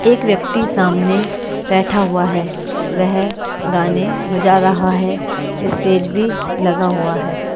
एक व्यक्ति सामने बैठा हुआ है वह गाने बजा रहा है स्टेज भी लगा हुआ है।